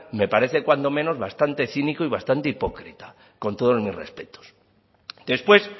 me parece cuanto menos bastante cínico y bastante hipócrita con todos mis respetos después